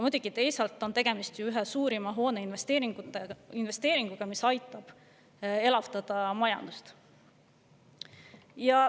Muidugi on teisalt tegemist ühe suurima hoone investeeringuga, mis aitab elavdada majandust.